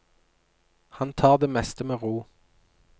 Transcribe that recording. Han tar det meste med ro.